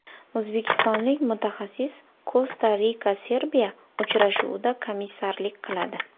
O‘zbekistonlik mutaxassis Kosta-RikaSerbiya uchrashuvida komissarlik qiladi.